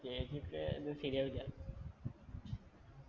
ചേച്ചിക്ക് ഒന്നും ശരിയാവില്ല